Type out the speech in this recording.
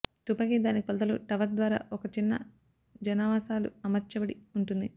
తుపాకీ దాని కొలతలు టవర్ ద్వారా ఒక చిన్న జనావాసాలు అమర్చబడి ఉంటుంది